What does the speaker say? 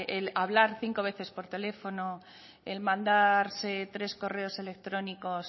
el hablar cinco veces por teléfono el mandarse tres correos electrónicos